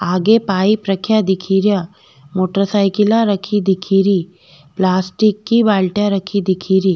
आगे पाइप रखेया दिखे रा मोटर साईकिला रखी दिखे री पलास्टिक की बाल्टियां रखी दिखे री।